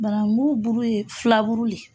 Banangu buru ye filaburu le.